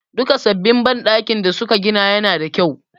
Duka sabbin banɗakin da su ka gina ya na da kyau